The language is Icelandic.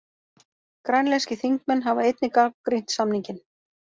Grænlenskir þingmenn hafa einnig gagnrýnt samninginn